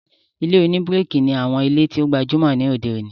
Ilé-oníbíríkì ní àwọn ilé tó gbajúmọ̀ ní òde òní